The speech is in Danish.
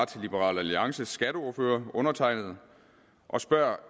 til liberal alliances skatteordfører undertegnede og spørger